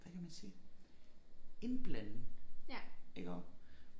Hvad kan man sige indblanding iggå